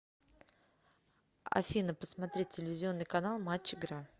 афина посмотреть телевизионный канал матч игра